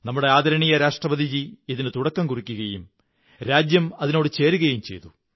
നമ്മുടെ ആദരണീയ രാഷ്ട്രപതി ഇതിനു തുടക്കം കുറിക്കുകയും രാജ്യം അതിനോടു ചേരുകയും ചെയ്തു